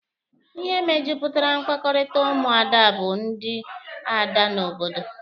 Ihe mejupụtara mkpakọrịta ụmụada bụ ndị ada n'obodo.